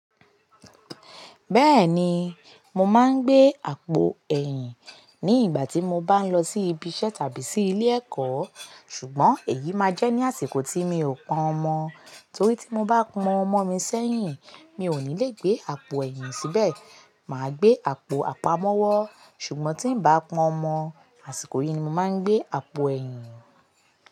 Bẹ́ẹ̀ni, mo máa ń gbé àpò ẹ̀yìn ní ìgbà tí mo bá ń lọ sí ibi iṣẹ́ tàbí sí ilé-ẹ̀kọ́, ṣùgbọ́n èyí máa jẹ́ ní àsìkò tí mi ò pọ́n ọmọ, torí tí mo bá pọ́n ọmọ mi sẹ́yìn, mi ò ní lè gbé àpò ẹ̀yìn síbẹ̀, màá gbé àpò àpamọ́wọ́. Ṣùgbọ́n tí ń bá pọ́n ọmọ, àsìkò yìí ni mo máa ń gbé àpò ẹ̀yìn.